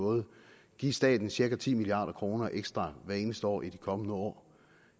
måde give staten cirka ti milliard kroner ekstra hvert eneste år i de kommende år